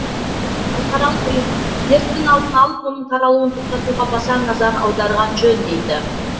халықаралық ұйым дерттің алдын алып оның таралуын тоқтатуға баса назар аударған жөн дейді